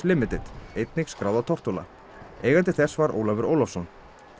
limited einnig skráð á Tortóla eigandi þess var Ólafur Ólafsson